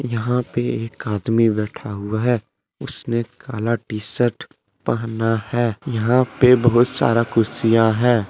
यहां पे एक आदमी बैठा हुआ है उसने काला टी शर्ट पहना है यहां पर बहुत सारा कुर्सियां है।